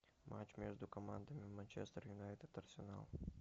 матч между командами манчестер юнайтед арсенал